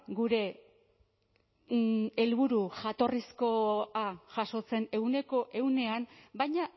gure helburu jatorrizkoa jasotzen ehuneko ehunean baina